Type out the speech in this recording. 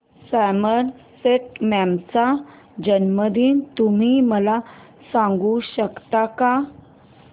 Somerset Maugham चा जन्मदिन तुम्ही मला सांगू शकता काय